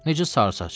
Necə sarısaç?